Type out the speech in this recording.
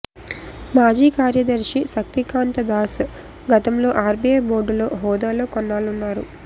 మాజీ కార్యదర్శి శక్తికాంత దాస్ గతంలో ఆర్బీఐ బోర్డులో హోదాలో కొన్నాళ్లున్నారు